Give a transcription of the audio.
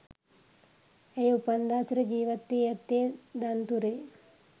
ඇය උපන්දා සිට ජීවත්වී ඇත්තේ දන්තුරේ